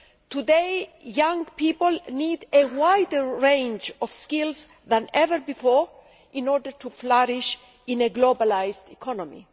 Today, young people need a wider range of skills than ever before in order to flourish in a globalised economy.